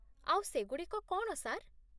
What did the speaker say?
ଆଉ ସେଗୁଡ଼ିକ କ'ଣ, ସାର୍?